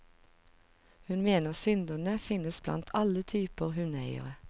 Hun mener synderne finnes blant alle typer hundeeiere.